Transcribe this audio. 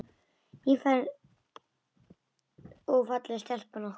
Nýfermd og falleg stelpan okkar.